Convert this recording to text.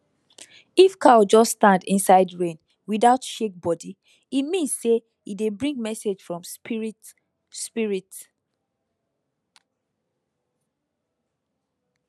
if cow just stand inside rain without shake body e mean say e dey bring message from spirit spirit